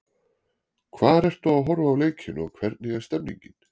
Hvar ertu að horfa á leikinn og hvernig er stemningin?